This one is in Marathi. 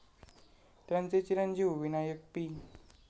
त्यांचे चिरंजीव विनायक पी.